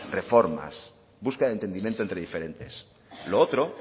reformas busca de entendimiento entre diferentes lo otro